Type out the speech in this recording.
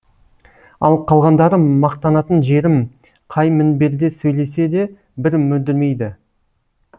ал қалғандары мақтанатын жерім қай мінберде сөйлесе де бір мүдірмейді